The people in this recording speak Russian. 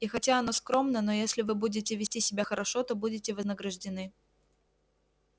и хотя оно скромно но если вы будете вести себя хорошо то будете вознаграждены